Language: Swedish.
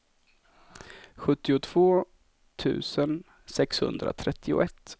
sjuttiotvå tusen sexhundratrettioett